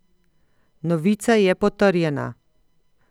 Novica je potrjena!